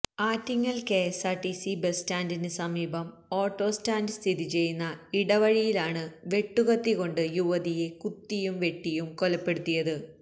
Attingal KSRTC bus സ്റ്റാന്റിന് സമീപം ഓട്ടോസ്റ്റാന്റ് സ്ഥിതി ചെയ്യുന്ന ഇടവഴിയിലാണ് വെട്ടുകത്തി കൊണ്ട് യുവതിയെ കുത്തിയും വെട്ടിയും കൊലപ്പെടുത്തിയത്